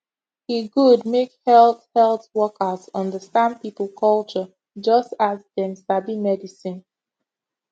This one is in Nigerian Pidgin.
e good make health health workers understand people culture just as dem sabi medicine